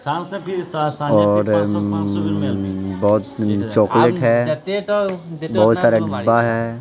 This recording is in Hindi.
और अम्-बहुत चॉकलेट है बहुत सारा डिब्बा है.